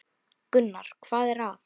Gunnar: Hvað er það?